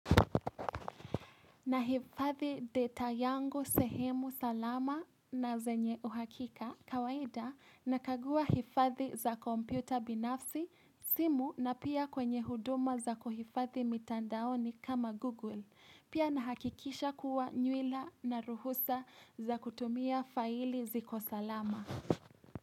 Na hifathi data yangu sehemu salama na zenye uhakika kawaida nakagua hifadhi za kompyuta binafsi simu na pia kwenye huduma za kuhifadhi mitandaoni kama Google. Pia na hakikisha kuwa nywila na ruhusa za kutumia faili ziko salama.